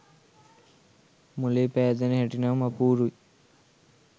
මොලේ පෑදෙන හැටි නම් අපූරුයි